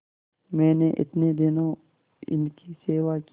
मैंने इतने दिनों इनकी सेवा की